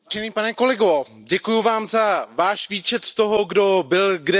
Děkuji vám za váš výčet toho, kdo byl kde zkorumpován.